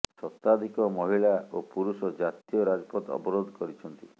ଶତାଧିକ ମହିଳା ଓ ପୁରୁଷ ଜାତୀୟ ରାଜପଥ ଅବରୋଧ କରିଛନ୍ତି